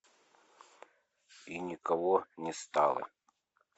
и никого не стало